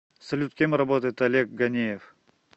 салют кем работает олег ганеев